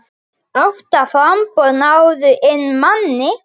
Átta framboð náðu inn manni.